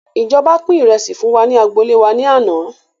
Ìjọba pin ìrẹsì fún wa ní agboolé wá ní àná